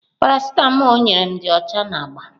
Parasịtamol o nyere m dị ọcha na agba.